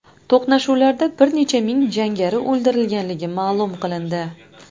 To‘qnashuvlarda bir necha ming jangari o‘ldirilganligi ma’lum qilindi.